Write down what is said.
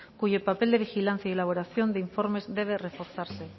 cuyo papel de vigilancia y elaboración de informes debe reforzarse